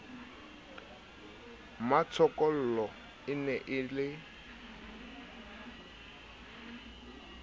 mmatshokolo e ne e le